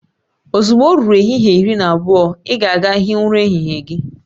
Ozugbo o ruru ehihie iri na abụọ, ị ga aga hịe ura ehihie gị